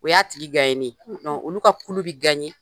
O y'a tigi . olu ka kulu bi